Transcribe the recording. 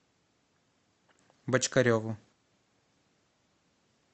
бочкареву